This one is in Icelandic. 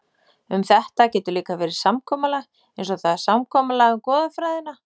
Um þetta getur líka verið samkomulag, eins og það er samkomulag um goðafræðina.